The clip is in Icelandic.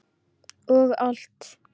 Og allt.